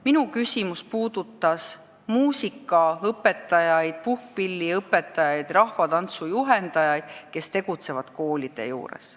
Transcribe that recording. Minu küsimus puudutas muusikaõpetajaid, puhkpilliõpetajaid, rahvatantsujuhendajaid, kes tegutsevad koolide juures.